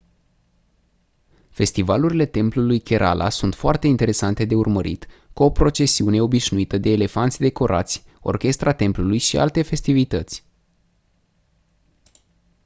festivalurile templului kerala sunt foarte interesante de urmărit cu o procesiune obișnuită de elefanți decorați orchestra templului și alte festivități